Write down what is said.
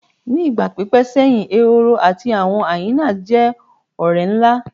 Ni igba pipẹ seyin Ehoro ati awọn hyenas jẹ ọrẹ nla